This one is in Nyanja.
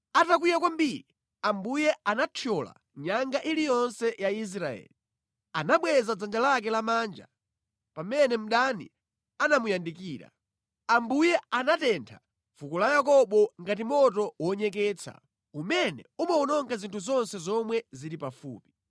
Atakwiya kwambiri, Ambuye anathyola nyanga iliyonse ya Israeli. Anabweza dzanja lake lamanja pamene mdani anamuyandikira. Ambuye anatentha fuko la Yakobo ngati moto wonyeketsa umene umawononga zinthu zonse zomwe zili pafupi.